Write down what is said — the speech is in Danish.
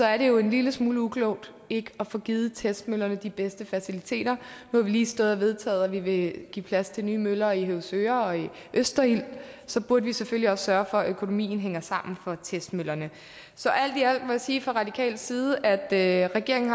er det jo en lille smule uklogt ikke at få givet testmøllerne de bedste faciliteter nu har vi lige stået og vedtaget at vi vil give plads til nye møller i høvsøre og i østerild og så burde vi selvfølgelig også sørge for at økonomien hænger sammen for testmøllerne så alt i alt må jeg sige fra radikal side at at regeringen